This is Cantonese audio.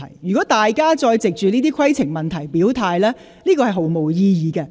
如果大家再藉着提出規程問題來表態，這是毫無意義的。